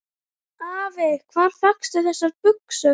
Afi, hvar fékkstu þessar buxur?